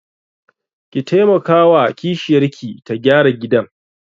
Ki taimakawa wa kishiyarki ta gyara gidan.